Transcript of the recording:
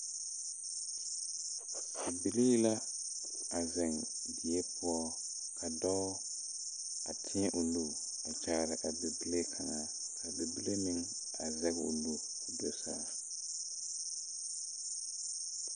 Bibilii la a zeŋ die poɔ ka dɔɔ a tēɛ o nu a kyaare a bibile kaŋa kaa bibile meŋ a zege o nu koo so saa.